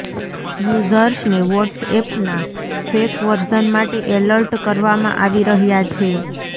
યુઝર્સને વોટ્સએપના fake version માટે alert કરવામાં આવી રહ્યાં છે